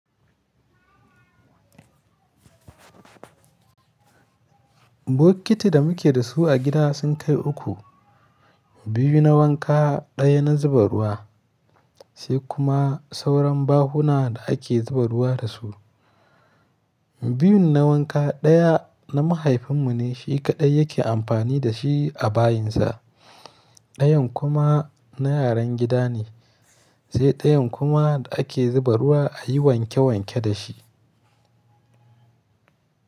Bokiti da muke da su a gida sun kai uku, biyu na wanka, ɗaya na zuba ruwa sai kuma sauran bahuna da ake zuba ruwa da su. Biyun na wanka ɗaya na mahaifin mu ne, shi kaɗai yake amfani da shi a bayinsa. Ɗayan kuma na yaran gida ne sai ɗayan kuma da ake zuba ruwa a yi wanke wanke da shi.